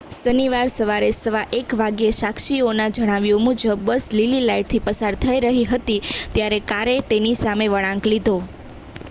શનિવારે સવારે 1 15 વાગ્યે સાક્ષીઓના જણાવ્યા મુજબ બસ લીલી લાઇટથી પસાર થઈ રહી હતી ત્યારે કારે તેની સામે વળાંક લીધો